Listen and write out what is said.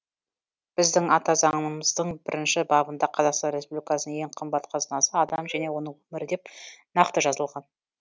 біздің ата заңымыздың бірінші бабында қазақстан республикасының ең қымбат қазынасы адам және оның өмірі деп нақты жазылған